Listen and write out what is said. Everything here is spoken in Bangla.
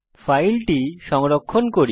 ফাইলটি সংরক্ষণ করুন